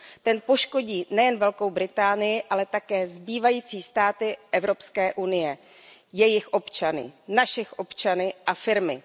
Ten poškodí nejen Velkou Británii, ale také zbývající státy Evropské unie, jejich občany naše občany a firmy.